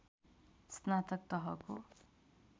स्नातक तहको